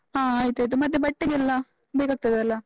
ಹ ಆಯ್ತಾಯ್ತು, ಮತ್ತೆ ಬಟ್ಟೆಗೆಲ್ಲ ಬೇಕಾಗ್ತದಲ್ಲ?